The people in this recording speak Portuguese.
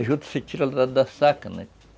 A juta se tira lá da saca, né?